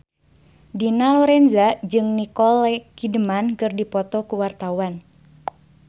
Dina Lorenza jeung Nicole Kidman keur dipoto ku wartawan